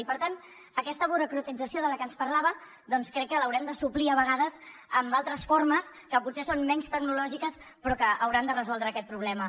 i per tant aquesta burocratització de la que ens parlava crec que l’haurem de suplir a vegades amb altres formes que potser són menys tecnològiques però que hauran de resoldre aquest problema